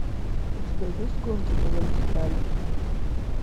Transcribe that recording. у тебя есть гонки по вертикали